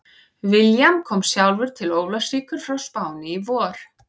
William kom sjálfur til Ólafsvíkur frá Spáni í vor.